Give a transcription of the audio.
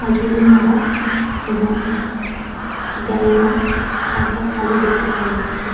মাছগুলি মরা এবং গায়ের রং হালকা কালো দেখতে পাওয়া যাচ্ছে।